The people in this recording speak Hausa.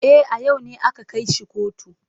E, a yau ne aka kai shi kotu.